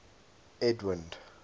edwind